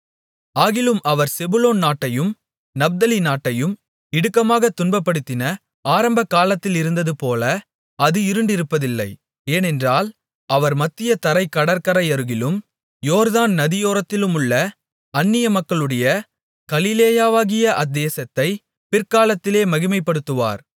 ஆகிலும் அவர் செபுலோன் நாட்டையும் நப்தலி நாட்டையும் இடுக்கமாக துன்பப்படுத்தின ஆரம்ப காலத்திலிருந்ததுபோல அது இருண்டிருப்பதில்லை ஏனென்றால் அவர் மத்திய தரைக் கடற்கரையருகிலும் யோர்தான் நதியோரத்திலுமுள்ள அந்நியமக்களுடைய கலிலேயாவாகிய அத்தேசத்தைப் பிற்காலத்திலே மகிமைப்படுத்துவார்